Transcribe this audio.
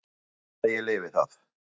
Ég vona bara að ég lifi það.